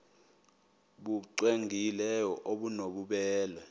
nbu cwengileyo obunobubele